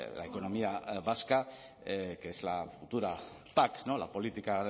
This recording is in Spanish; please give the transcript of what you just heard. la economía vasca que es la futura pac la política